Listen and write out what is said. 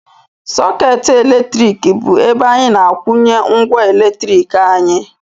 Sọkeetị eletriki bụ ebe anyị na-akwunye ngwa eletrik anyị